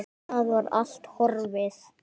Það var allt horfið!